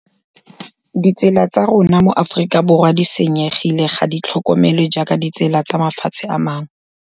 Ditsela tsa rona mo Aforika Borwa di senyegile, ga di tlhokomelwe jaaka ditsela tsa mafatshe a mangwe.